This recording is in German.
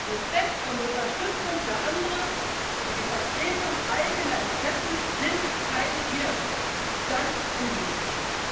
Respekt und Unterstützung für andere und die Vertretung eigener Interessen sind kein Widerspruch ganz im Gegenteil!